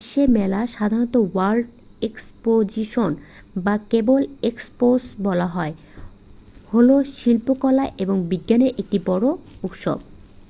বিশ্ব মেলা সাধারণত ওয়ার্ল্ড এক্সপোজিশন বা কেবল এক্সপো বলা হয় হলো শিল্পকলা এবং বিজ্ঞানের একটি বড় উৎসব।